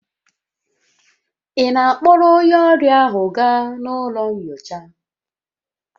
Ị na-akpọrọ onye ọrịa ahụ gaa ụlọ nyocha?